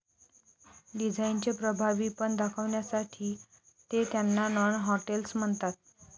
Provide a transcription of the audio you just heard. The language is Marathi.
डिझाईनचे प्रभावी पण दाखवण्यासाठी ते त्यांना नॉन हॉटेल्स म्हणतात